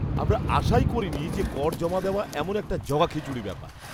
আমরা আশাই করিনি যে কর জমা দেওয়া এমন একটা জগাখিচুড়ি ব্যাপার!